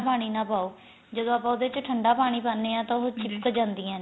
ਪਾਣੀ ਨਾ ਪਾਉ ਜਦੋ ਆਪਾਂ ਉਹਦੇ ਚ ਠੰਡਾ ਪਾਣੀ ਪਾਨੇ ਆ ਤਾਂ ਉਹ ਚਿਪਕ ਜਾਂਦੀਆਂ ਨੇ